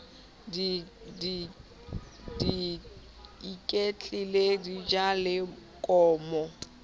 di iketlile di ja lekomo